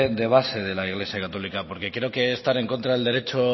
de base de la iglesia católica porque creo que estar en contra del derecho